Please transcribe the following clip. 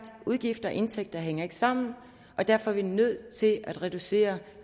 udgifter og indtægter hænger ikke sammen og derfor er vi nødt til at reducere